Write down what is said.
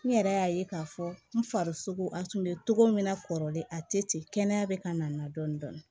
N yɛrɛ y'a ye k'a fɔ n farisogo a tun bɛ cogo min na kɔrɔlen a tɛ ten kɛnɛya bɛ ka n na n na dɔɔnin dɔɔnin